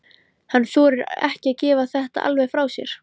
Hann þorir ekki að gefa þetta alveg frá sér.